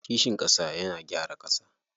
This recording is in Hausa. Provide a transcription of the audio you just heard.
Kishin ƙasa yana gyara ƙasa.